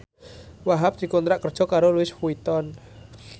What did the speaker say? Wahhab dikontrak kerja karo Louis Vuitton